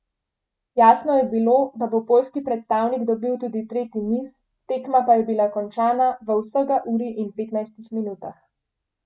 Jasno je bilo, da bo poljski predstavnik dobil tudi tretji niz, tekma pa je bila končana v vsega uri in petnajstih minutah.